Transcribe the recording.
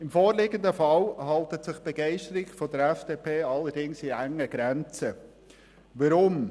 Im vorliegenden Fall hält sich die Begeisterung der FDP-Fraktion allerdings in engen Grenzen.